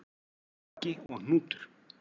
Baggi og Hnútur,